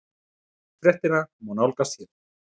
Fréttina má nálgast hér